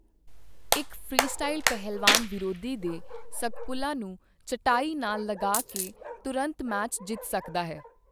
ਇੱਕ ਫ੍ਰੀਸਟਾਈਲ ਪਹਿਲਵਾਨ ਵਿਰੋਧੀ ਦੇ ਸਕਪੁਲਾ ਨੂੰ ਚਟਾਈ ਨਾਲ ਲਗਾ ਕੇ ਤੁਰੰਤ ਮੈਚ ਜਿੱਤ ਸਕਦਾ ਹੈ।